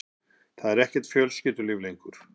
Það er ekkert fjölskyldulíf lengur.